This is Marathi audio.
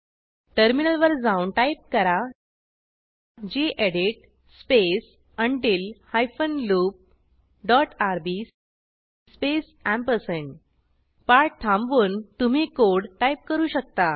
टर्मिनल वर जाऊन टाईप करा gedit space until hyphen loop dot RB space पाठ थांबवून तुम्ही कोड टाईप करू शकता